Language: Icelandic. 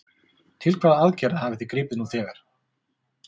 Til hvaða aðgerða hafið þið gripið nú þegar?